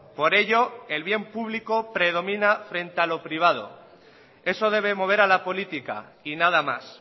por ello el bien público predomina frente a lo privado eso debe mover a la política y nada más